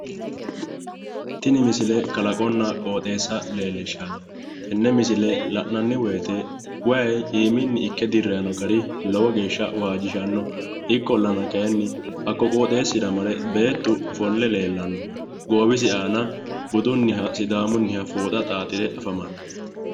Tini misile kalaqonna qooxeessa leellishshanno, tini misile la'nanni wooyite wayi iiminni ikke dirrayi no gari lowo geeshsha waajjishanno, ikkollana kaayiinni hakko qooxeessira mare beettu ofolle leellanno. goowwisi aana budunniha sidaamunniha fooxa xaaxire afamanno.